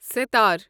سِتر